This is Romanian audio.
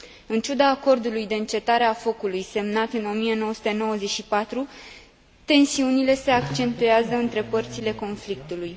În ciuda acordului de încetare a focului semnat în 1994, tensiunile se accentuează între părțile conflictului.